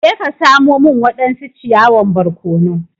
Je ka samo min wadansu ciyawan barkono!